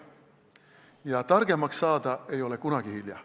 Ja targemaks saada ei ole kunagi hilja.